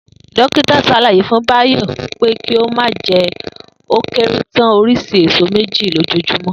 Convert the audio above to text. Dókítà s̩àlàyé fún Báyò̩ wí pé kí ó máa je̩ ó kéré tán orís̩i èso méjì lójoojúmó̩